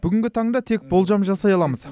бүгінгі таңда тек болжам жасай аламыз